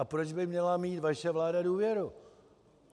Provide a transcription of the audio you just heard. A proč by měla mít vaše vláda důvěru?